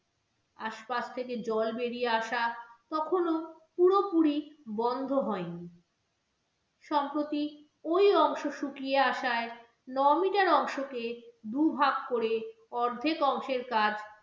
আশপাশ থেকে জল বেরিয়ে আসা তখনো পুরোপুরি বন্ধ হয়নি সম্প্রতি ওই অংশ শুকিয়ে আসায় নয় metre অংশকে দুভাগ করে অর্ধেক অংশের কাজ